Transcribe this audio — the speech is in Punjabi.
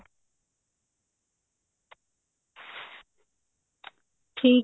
ਠੀਕ